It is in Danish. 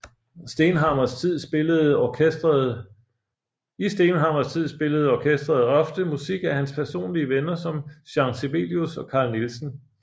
I Stenhammars tid spillede orkestret ofte musik af hans personlige venner som Jean Sibelius og Carl Nielsen